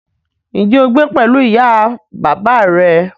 Ǹjẹ́ o óò gbé pẹ̀lú ìyá bàbá à rẹ?